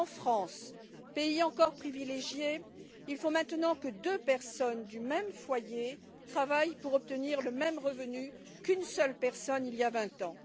En France, pays encore privilégié, il faut maintenant que deux personnes du même foyer travaillent pour obtenir le même revenu qu'une seule personne il y a 20 ans.